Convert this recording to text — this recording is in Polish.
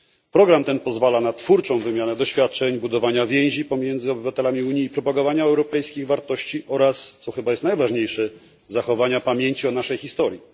Program ten pozwala na twórczą wymianę doświadczeń, budowanie więzi pomiędzy obywatelami Unii i propagowanie europejskich wartości oraz, co chyba jest najważniejsze, zachowanie pamięci o naszej historii.